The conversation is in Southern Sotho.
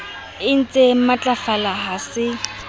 e ntsee matlafala ha se